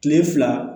Kile fila